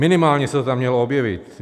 Minimálně se to tam mělo objevit.